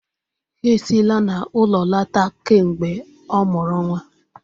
Ha esila n'ulo lota kamgbe o mụrụ nwa.